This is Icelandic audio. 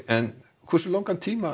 en hversu langan tíma